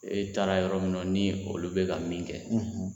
I taara yɔrɔ min na ni olu bɛ ka min kɛ;